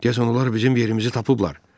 Deyəsən onlar bizim yerimizi tapıblar.